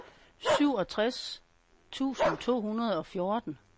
syvogtres tusind to hundrede og fjorten